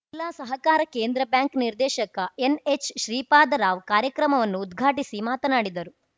ಜಿಲ್ಲಾ ಸಹಕಾರ ಕೇಂದ್ರ ಬ್ಯಾಂಕ್‌ ನಿರ್ದೇಶಕ ಎನ್‌ಎಚ್‌ ಶ್ರೀಪಾದ ರಾವ್‌ ಕಾರ್ಯಕ್ರಮವನ್ನು ಉದ್ಘಾಟಿಸಿ ಮಾತನಾಡಿದರು